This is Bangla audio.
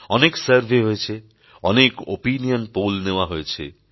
অনেক সার্ভে হয়েছে অনেক ওপিনিয়ন পোল নেওয়া হয়েছে